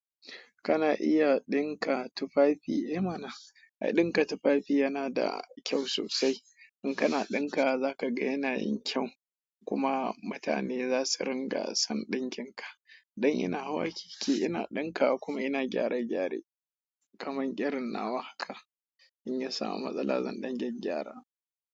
Kana iya ɗinka tufafi? Eh mana. Ai ɗinka tufafi yana da kyau sosai. In kana ɗinka wa za ka ga yana yin kyau, kuma mutane za su ringa son ɗinkin ka. Dan ina hawa keke, ina ɗinka wa, kuma ina gyare gyare kaman ƙirin nawa haka, in ya samu matsala zan ɗan gyagygyara.